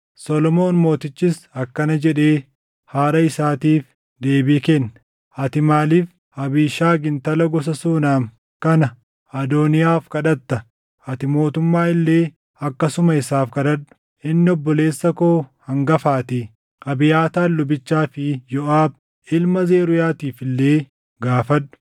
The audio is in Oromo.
Solomoon mootichis akkana jedhee haadha isaatiif deebii kenne; “Ati maaliif Abiishagi intala gosa Suunam kana Adooniyaaf kadhatta? Ati mootummaa illee akkasuma isaaf kadhadhu; inni obboleessa koo hangafaatii; Abiyaataar lubichaa fi Yooʼaab ilma Zeruuyaatiif illee gaafadhu!”